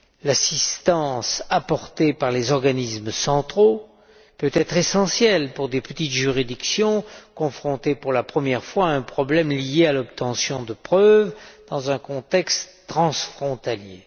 L'assistance apportée par les organismes centraux peut être essentielle pour des petites juridictions confrontées pour la première fois à un problème lié à l'obtention de preuves dans un contexte transfrontalier.